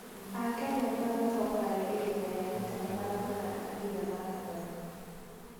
Akenya nĩo matongoragia ihenya rĩa mita 800 nginya marathoni.